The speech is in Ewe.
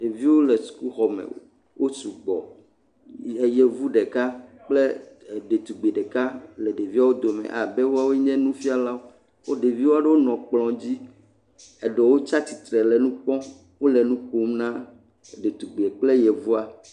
Ɖeviwo le suku xɔ me. Wosu gbɔ. Le yevu ɖeka kple ɖetugbui ɖeka wole ɖeviawo dome abe woawoe nye nufialawo. Ɖevia aɖewo nɔ ekplɔ dzi, eɖewo tsia tsitre le nukpɔm. Wole nu kom na ɖetugbui kple yevua.